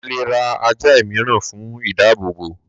a lè ra ajá ìmíràn fún ìdábòbò